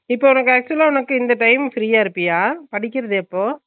இப்ப உனக்கு actual அ உனக்கு இந்த time free அ இருப்பியா படிக்கறது எப்போ